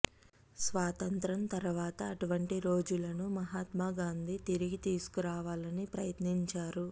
స్వాతంత్య్రం తరువాత అటువంటి రోజులను మహాత్మా గాంధీ తిరిగి తీసుకురావాలని ప్రయత్నించారు